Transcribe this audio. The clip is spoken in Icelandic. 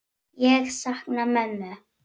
Ég sakna mömmu.